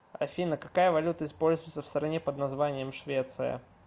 афина какая валюта используется в стране под названием швеция